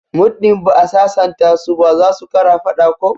Muddin ba'a sasanta su ba zasu kara fada ko?